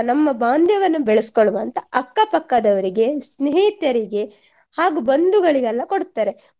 ನಮ್ಮ ಬಾಂಧವ್ಯವನ್ನು ಬೆಳಸ್ಕೊಳ್ಳುವಂತ ಅಕ್ಕ ಪಕ್ಕದವರಿಗೆ ಸ್ನೇಹಿತರಿಗೆ ಹಾಗು ಬಂಧುಗಳಿಗೆಲ್ಲ ಕೊಡ್ತಾರೆ